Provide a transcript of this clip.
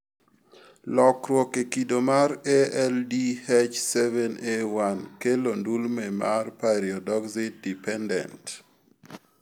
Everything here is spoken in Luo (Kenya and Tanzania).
Lokruok e kido mar ALDH7A1 kelo ndulme mar pyridoxine dependent